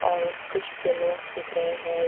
और कुछ बलूंस दिख रहे हैं।